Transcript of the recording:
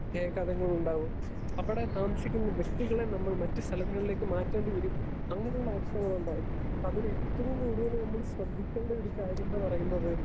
Speaker 2 പ്രത്യാഘാതങ്ങളുണ്ടാവും അവടെ താമസിക്കുന്ന വ്യക്തികളെ നമ്മൾ മറ്റ് സ്ഥലങ്ങളിലേക്ക് മാറ്റണ്ടിവരും അങ്ങനുള്ള അവസ്ഥകളുണ്ടാകും. അതിനേറ്റവും കൂടുതൽ നമ്മൾ ശ്രദ്ധിക്കേണ്ട ഒരു കാര്യംന്ന് പറയുന്നത്